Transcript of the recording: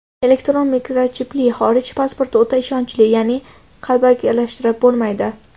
Elektron mikrochipli xorij pasporti o‘ta ishonchli, ya’ni qalbakilashtirib bo‘lmaydi.